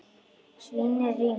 Svínið rymur.